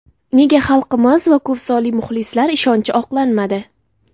Nega xalqimiz va ko‘psonli muxlislar ishonchi oqlanmadi?